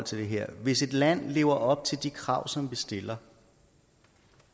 til det her hvis et land lever op til de krav som vi stiller